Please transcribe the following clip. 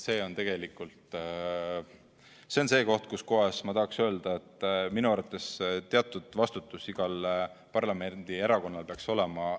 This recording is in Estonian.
See on tegelikult see koht, kus ma tahaks öelda, et minu arvates teatud vastutus igal parlamendierakonnal peaks olema.